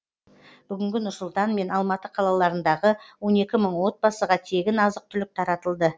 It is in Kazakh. бүгінгі нұрсұлтан мен алматы қалаларындағы он екі мың отбасыға тегін азық түлік таратылды